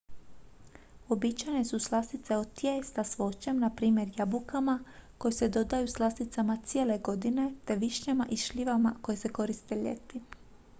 uobičajene su slastice od tijesta s voćem na primjer jabukama koje se dodaju slasticama cijele godine te višnjama i šljivama koje se koriste ljeti